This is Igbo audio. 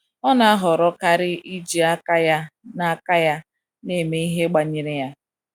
ọna ahọrọ kari iji aka ya na aka ya na eme ihe banyere ya